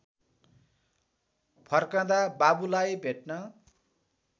फर्कँदा बाबुलाई भेट्न